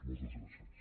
moltes gràcies